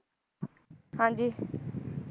ਹਾਂਜੀ